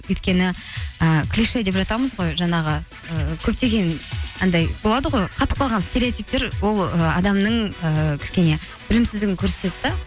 өйткені і жатамыз ғой жаңағы ы көптеген анандай болады ғой қатып қалған стереотиптер ол ы адамның ііі кішкене білімсіздігін көрсетеді де